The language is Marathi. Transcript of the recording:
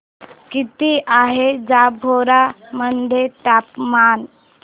किती आहे जांभोरा मध्ये तापमान